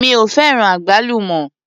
Mi ò fẹ́ràn àgbálùmọ́.